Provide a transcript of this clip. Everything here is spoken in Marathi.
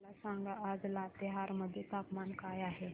मला सांगा आज लातेहार मध्ये तापमान काय आहे